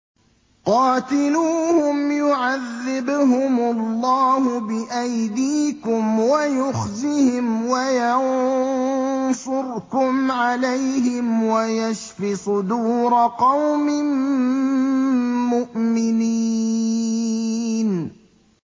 قَاتِلُوهُمْ يُعَذِّبْهُمُ اللَّهُ بِأَيْدِيكُمْ وَيُخْزِهِمْ وَيَنصُرْكُمْ عَلَيْهِمْ وَيَشْفِ صُدُورَ قَوْمٍ مُّؤْمِنِينَ